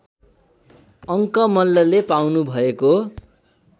अङ्क मल्लले पाउनुभएको